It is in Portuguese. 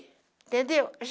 Entendeu?